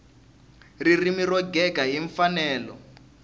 ririmi ro gega hi mfanelo